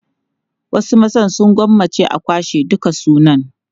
Wasu maza sun gwammaci a kwashe dukan sunan.